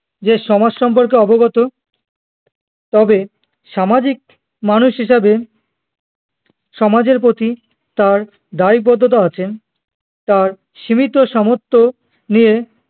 যে সমাজ সম্পর্কে অবগত তবে সামাজিক মানুষ হিসাবে সমাজের প্রতি তার দায়বদ্ধতা আছে তার সীমিত সামর্থ্য নিয়ে